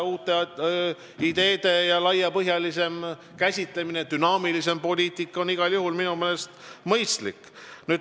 Uute ideede laiapõhjalisem käsitlemine, dünaamilisem poliitika on minu meelest igal juhul mõistlik.